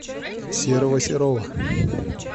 серого серова